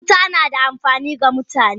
Wuta nada amfani ga mutane.